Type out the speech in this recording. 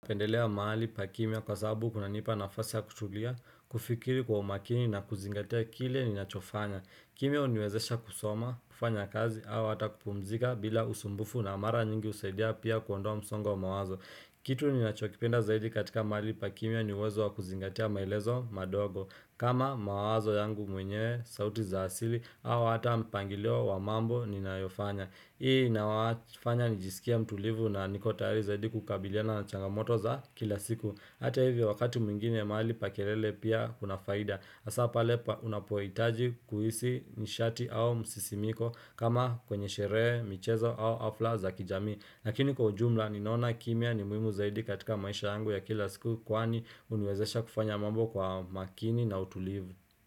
Napendelea mahali pa kimya kwa sababu kunanipa nafasi ya kutulia, kufikiri kwa umakini na kuzingatia kile ninachofanya. Kimya huniwezesha kusoma, kufanya kazi, au hata kupumzika bila usumbufu na mara nyingi usaidia pia kuondoa msongo wa mawazo. Kitu ninachokipenda zaidi katika mahali pa kimya ni uwezo wa kuzingatia maelezo mandogo. Kama mawazo yangu mwenyewe sauti za asili, au hata mpangilio wa mambo ninayofanya. Hii inafanya nijisikie mtulivu na niko tayari zaidi kukabiliana na changamoto za kila siku Hata hivyo wakati mwingine mahali pa kelele pia kuna faida hasa pale pa unapohitaji kuhisi nishati au msisimko kama kwenye sherehe michezo au hafla za kijamii lakini kwa ujumla ninaona kimya ni muhimu zaidi katika maisha yangu ya kila siku Kwani huniwezesha kufanya mambo kwa makini na utulivu.